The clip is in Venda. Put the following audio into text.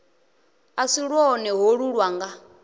a si lwone holu lwanga